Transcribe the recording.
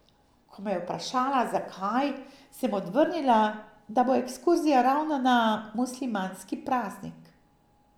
Ko me je vprašala, zakaj, sem odvrnila, da bo ekskurzija ravno na muslimanski praznik.